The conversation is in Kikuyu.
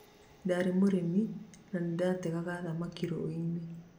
ndarĩ mũrĩmi na nĩndategaga thamaki rũĩ-inĩ